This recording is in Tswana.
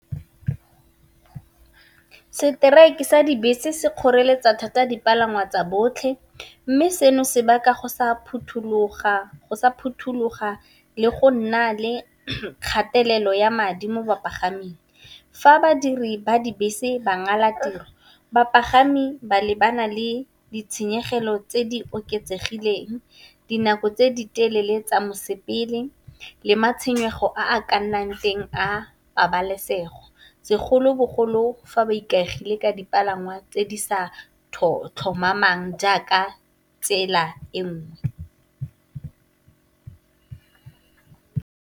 Strike sa dibese se kgoreletsa thata dipalangwa tsa botlhe. Mme, seno se baka go sa phuthuloga le go nna le kgatelelo ya madi mo bapagaming. Fa badiri ba dibese ba ngala tiro bapagami ba lebana le ditshenyegelo tse di oketsegileng, dinako tse di telele tsa mosepele, le matshwenyego a ka nnang teng a pabalesego segolobogolo fa ba ikaegile ka dipalangwa tse di sa tlhomamang jaaka tsela e nngwe.